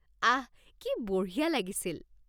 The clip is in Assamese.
আহ! কি বঢ়িয়া লাগিছিল।